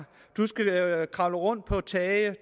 kravle rundt på tage